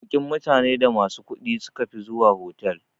Baƙin mutane da masu kudi sukafi zuwa otal.